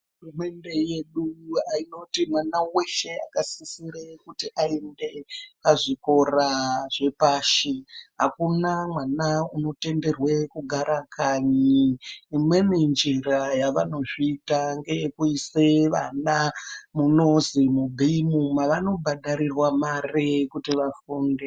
Hurumende yedu inoti mwana weshe asisire kuenda kuzvikora zvepashi akuna mwana anotenderwa kugara kanyi imweni njira yavanozviita ndeye kuisa mwana munonzi mubeam mavanobhadharirwa mare kuti vafunde.